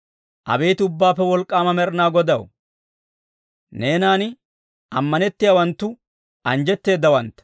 Abeet Ubbaappe Wolk'k'aama Med'inaa Godaw, neenan ammanettiyaawanttu anjjetteedawantta.